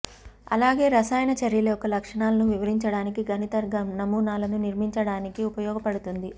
అలాగే రసాయన చర్యల యొక్క లక్షణాలను వివరించడానికి గణిత నమూనాలను నిర్మించడానికి ఉపయోగపడుతుంది